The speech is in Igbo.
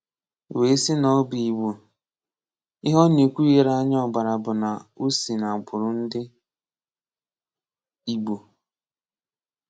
Wee sị na ọ bụ Igbo; ihe ọ na-ekwu ghere anya ọgbara bụ na ọ si n’agbụrụ ndị Igbo.